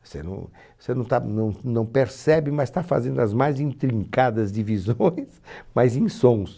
Você não você não está não não percebe, mas está fazendo as mais intrincadas divisões, mas em sons.